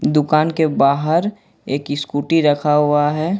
दुकान के बाहर एक स्कूटी रखा हुआ है ।